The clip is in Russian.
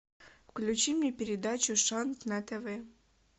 включи мне передачу шант на тв